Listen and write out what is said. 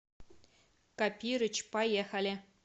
копирыч поехали